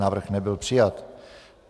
Návrh nebyl přijat.